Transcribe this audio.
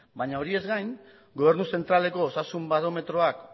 bai horiez gain gobernu zentraleko osasun barometroak